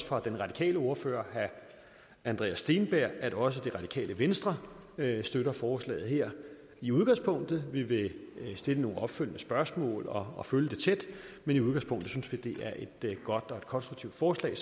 fra den radikale ordfører herre andreas steenberg at også det radikale venstre støtter forslaget her i udgangspunktet vi vil stille nogle opfølgende spørgsmål og følge det tæt men i udgangspunktet synes vi det er et godt og konstruktivt forslag